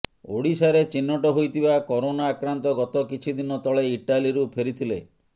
ଓଡ଼ିଶାରେ ଚିହ୍ନଟ ହୋଇଥିବା କୋରୋନା ଆକ୍ରାନ୍ତ ଗତ କିଛି ଦିନ ତଳେ ଇଟାଲୀରୁ ଫେରିଥିଲେ